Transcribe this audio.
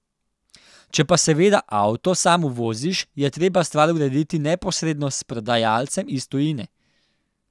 Če pa seveda avto sam uvoziš, je treba stvar urediti neposredno s prodajalcem iz tujine.